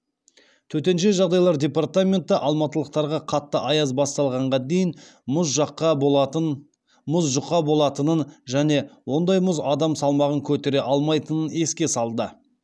төтенше жағдайлар департаменті алматылықтарға қатты аяз басталғанға дейін мұз жұқа болатынын және ондай мұз адам салмағын көтере алмайтынын еске салды